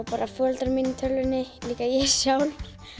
bara foreldra mína í tölvunni líka ég sjálf